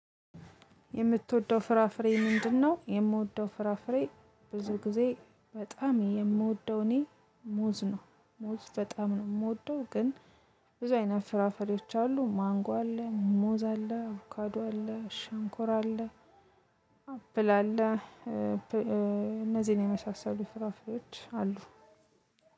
የምትወደው ፍራፍሬ ምንድነው? የምወደው ፍራፍሬ ብዙ ጊዜ በጣም የምወደው እኔ ሙዝ ነው ሙዝ በጣም ነው የምወደው። ግን ብዙ አይነት ፍራፈሪዎች አሉ ማንጎ አለ ሙዛ አለ አቡካዶ አለ ሽንኮራ አለ። አፕል አለ። እነዚህን የመሳሰሉ ፍራፎች አሉ።